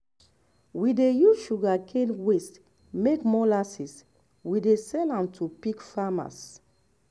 we dey use sugarcane waste make molasses we dey sell am to pig farmers.